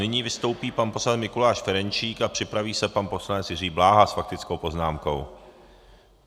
Nyní vystoupí pan poslanec Mikuláš Ferjenčík a připraví se pan poslanec Jiří Bláha s faktickou poznámkou.